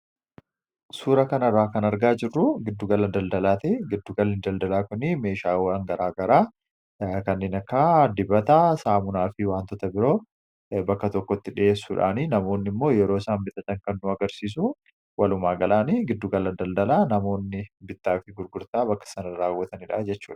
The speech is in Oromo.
suura kanarraa kan argaa jirru giddugala daldalaate giddugalli daldalaa kunii meeshaawangaraa garaa kanninakkaa dibataa, saamunaa fi waantoota biroo bakka tokkotti dhi'ees suudhaanii namoonni immoo yeroo saan bitatatan kan nu agarsiisu walumaa galaanii giddugalladaldalaa namoonni bittaa fi gurgurtaa bakka sana raawwataniidhaa jechudha